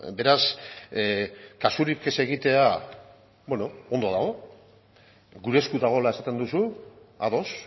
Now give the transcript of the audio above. beraz kasurik ez egitea ondo dago gure esku dagoela esaten duzu ados